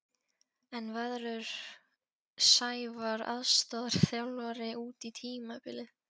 En veðrur Sævar aðstoðarþjálfari út tímabilið?